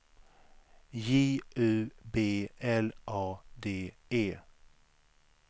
J U B L A D E